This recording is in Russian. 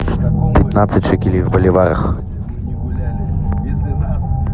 пятнадцать шекелей в боливарах